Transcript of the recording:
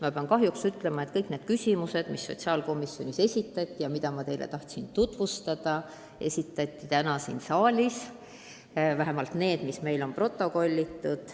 Ma pean ütlema, et kõik need küsimused, mis sotsiaalkomisjonis esitati ja mida ma teile tahtsin tutvustada, esitati täna ka siin saalis – vähemalt need, mis meil on protokollitud.